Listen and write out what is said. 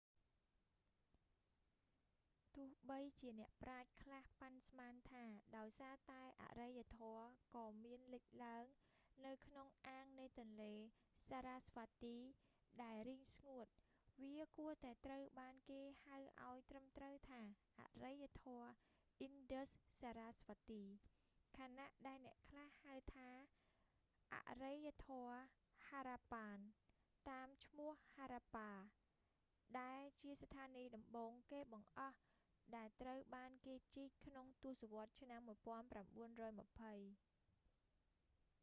ទោះបីជាអ្នកប្រាជ្ញខ្លះប៉ាន់ស្មានថា ដោយសារតែអរិយធម៌ក៏មានលេចឡើងនៅក្នុងអាងនៃទន្លេសារ៉ាស្វាទី sarasvati ដែលរីងស្ងួត វាគួរតែត្រូវបានគេហៅឲ្យត្រឹមត្រូវថាអរិយធម៌អ៊ីនដឹស សារ៉ាស្វាទី indus-sarasvati ខណៈដែលអ្នកខ្លះហៅវាថាអរិយធម៌ហារ៉ាប៉ាន harappan តាមឈ្មោះហារ៉ាប៉ា harappa ដែលជាស្ថានីយ៍ដំបូងគេបង្អស់ដែលត្រូវបានគេជីក ក្នុងទសវត្សឆ្នាំ 1920